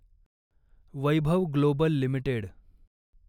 Vaibhav global limited